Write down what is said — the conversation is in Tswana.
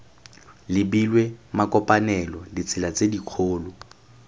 lebilwe makopanelo ditsela tse dikgolo